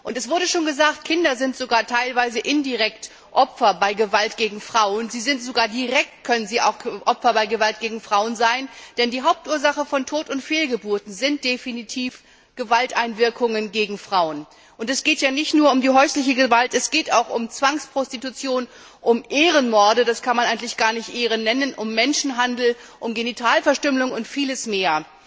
Es wurde schon gesagt Kinder sind sogar teilweise indirekt Opfer bei Gewalt gegen Frauen. Sie können bei Gewalt gegen Frauen sogar direkt Opfer sein, denn die Hauptursache von Tot und Fehlgeburten sind definitiv Gewalteinwirkungen gegen Frauen. Es geht nicht nur um die häusliche Gewalt, es geht auch um Zwangsprostitution, um Ehrenmorde das kann man eigentlich gar nicht Ehre nennen um Menschenhandel, um Genitalverstümmelung und vieles mehr.